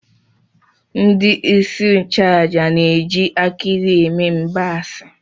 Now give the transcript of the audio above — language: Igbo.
Ndị isi nchụaja na-eji akị ilu eme mgbaasị